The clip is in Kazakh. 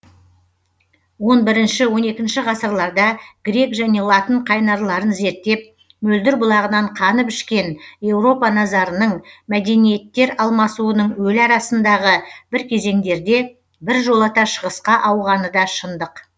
он бірінші он екінші ғасырларда грек және латын қайнарларын зерттеп мөлдір бұлағынан қанып ішкен еуропа назарының мәдениеттер алмасуының өлі арасындағы бір кезеңдерде біржолата шығысқа ауғаны да шындық